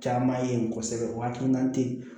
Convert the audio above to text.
Caman ye kosɛbɛ o hakilina tɛ ye